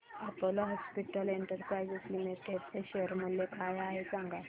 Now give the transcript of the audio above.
Apollo hospitals enterprise limited चे share मूल्य काय आहे सांगा